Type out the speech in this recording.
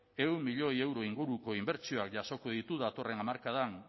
ehun milioi euro inguruko inbertsioak jasoko ditu datorren hamarkadan